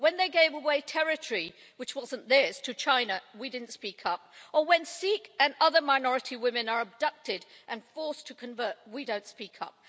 When they gave away territory that wasn't theirs to China we didn't speak up. Or when Sikh and other minority women are abducted and forced to convert, we don't speak up.